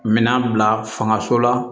Minan bila fangaso la